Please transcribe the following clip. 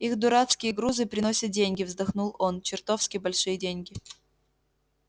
их дурацкие грузы приносят деньги вздохнул он чертовски большие деньги